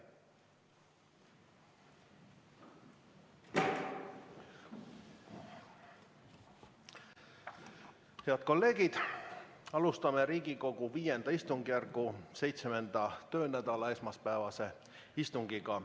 Head kolleegid, alustame Riigikogu V istungjärgu 7. töönädala esmaspäevast istungit.